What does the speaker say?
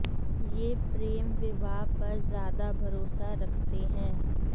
ये प्रेम विवाह पर ज्यादा भरोसा रखते हैं